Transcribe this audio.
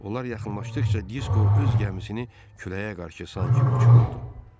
Onlar yaxınlaşdıqca Disko öz gəmisini küləyə qarşı sanki uçururdu.